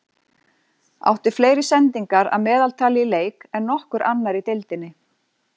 Átti fleiri sendingar að meðaltali í leik en nokkur annar í deildinni.